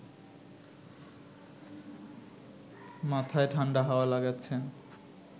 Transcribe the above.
মাথায় ঠাণ্ডা হাওয়া লাগাচ্ছেন